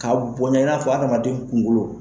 Ka boya i n'a fɔ adamaden kunkolo.